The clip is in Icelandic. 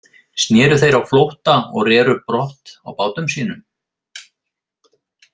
Sneru þeir á flótta og reru brott á bátum sínum.